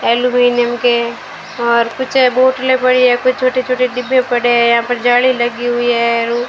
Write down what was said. Aluminium के और पीछे बोतलें पड़ी है कुछ छोटी छोटी डिब्बे पड़े हैं यहां पर जाली लगी हुई है।